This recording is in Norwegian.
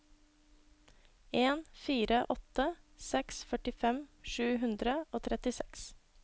en fire åtte seks førtifem sju hundre og trettiseks